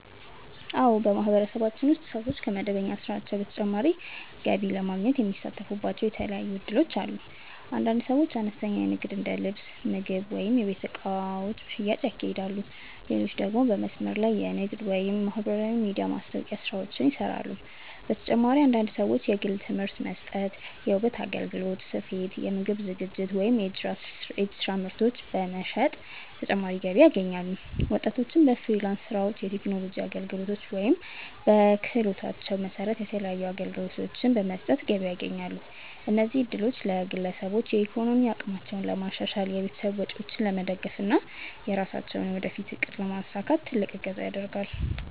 አዎ፣ በማህበረሰባችን ውስጥ ሰዎች ከመደበኛ ስራቸው በተጨማሪ ገቢ ለማግኘት የሚሳተፉባቸው የተለያዩ እድሎች አሉ። አንዳንድ ሰዎች አነስተኛ ንግድ እንደ ልብስ፣ ምግብ ወይም የቤት እቃዎች ሽያጭ ያካሂዳሉ፣ ሌሎች ደግሞ በመስመር ላይ ንግድ ወይም የማህበራዊ ሚዲያ ማስታወቂያ ስራዎችን ይሰራሉ። በተጨማሪም አንዳንድ ሰዎች የግል ትምህርት መስጠት፣ የውበት አገልግሎት፣ ስፌት፣ የምግብ ዝግጅት ወይም የእጅ ስራ ምርቶች በመሸጥ ተጨማሪ ገቢ ያገኛሉ። ወጣቶችም በፍሪላንስ ስራዎች፣ የቴክኖሎጂ አገልግሎቶች ወይም በክህሎታቸው መሰረት የተለያዩ አገልግሎቶችን በመስጠት ገቢ ያስገኛሉ። እነዚህ እድሎች ለግለሰቦች የኢኮኖሚ አቅማቸውን ለማሻሻል፣ የቤተሰብ ወጪዎችን ለመደገፍ እና የራሳቸውን የወደፊት እቅድ ለማሳካት ትልቅ እገዛ ያደርጋል።